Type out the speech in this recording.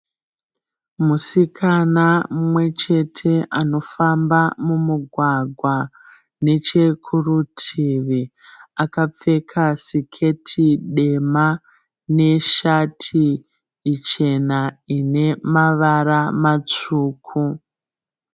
Musikana mumwe chete anofamba mumugwagwa, nechekurutivi akapfeka siketi dema neshati ichena ine mavara matsvuku.